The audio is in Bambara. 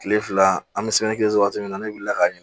Kile fila an bɛ min na ne wulila ka